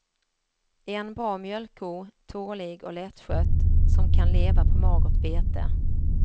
En bra mjölkko, tålig och lättskött som kan leva på magert bete.